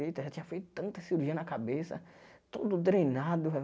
já tinha feito tanta cirurgia na cabeça, todo drenado.